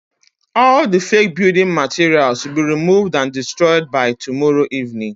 All the fake building materials will be removed and destroyed by tomorrow evening